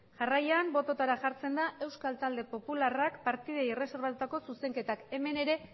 jarraian botoetara jartzen da euskal talde popularrak partidei erreserbatutako zuzenketak hemen ere